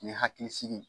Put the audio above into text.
Ni hakili sigi